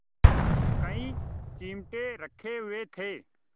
कई चिमटे रखे हुए थे